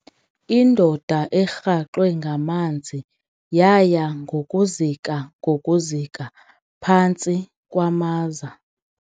Indoda erhaxwe ngamanzi yaya ngokuzika ngokuzika phantsi kwamaza.